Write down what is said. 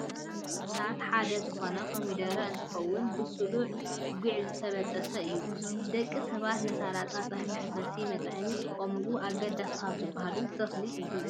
ካብ ተክልታት ሓደ ዝኮነ ኮሚደረ እንትከውን ብሱሉን ጉዕን ዝተበጠሰ እዩ። ደቂ ሰባት ንሳላጣን ፀብሒ መሕፈስን መጥዓምን ዝጥቀሙሉ ኣገዳሲ ካብ ዝባሃሉ ተክሊ እዩ።